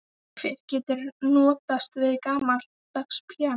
Hver getur notast við gamaldags píanó?